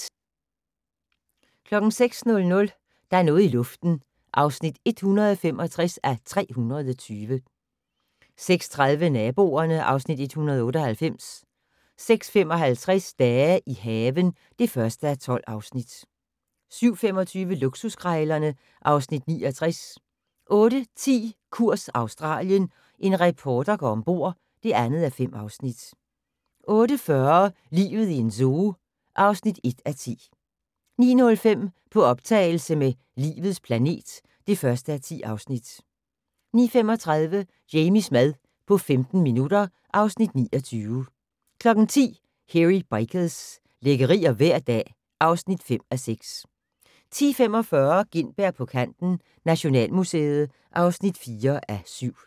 06:00: Der er noget i luften (165:320) 06:30: Naboerne (Afs. 198) 06:55: Dage i haven (1:12) 07:25: Luksuskrejlerne (Afs. 69) 08:10: Kurs Australien - en reporter går ombord (2:5) 08:40: Livet i en zoo (1:10) 09:05: På optagelse med "Livets planet" (1:10) 09:35: Jamies mad på 15 minutter (Afs. 29) 10:00: Hairy Bikers - lækkerier hver dag (5:6) 10:45: Gintberg på kanten - Nationalmuseet (4:7)